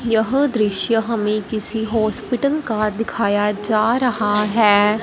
यह दृश्य हमें किसी हॉस्पिटल का दिखाया जा रहा है।